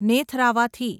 નેથરાવાથી